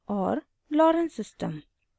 * और lorenz system